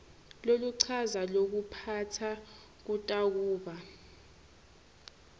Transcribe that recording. loluchaza lokuphatsa kutakuba